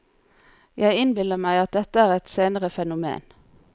Jeg innbiller meg at dette er et senere fenomen.